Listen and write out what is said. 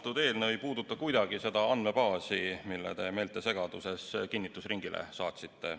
See eelnõu ei puuduta kuidagi seda andmebaasi, mille te meeltesegaduses seaduseelnõuna kinnitusringile saatsite.